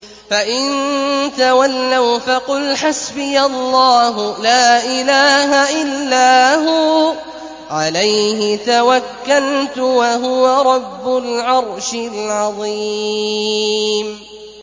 فَإِن تَوَلَّوْا فَقُلْ حَسْبِيَ اللَّهُ لَا إِلَٰهَ إِلَّا هُوَ ۖ عَلَيْهِ تَوَكَّلْتُ ۖ وَهُوَ رَبُّ الْعَرْشِ الْعَظِيمِ